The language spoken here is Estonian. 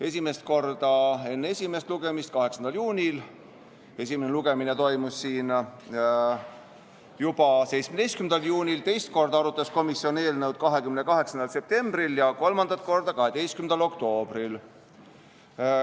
Esimest korda enne esimest lugemist, 8. juunil , teist korda arutas komisjon eelnõu 28. septembril ja kolmandat korda 12. oktoobril.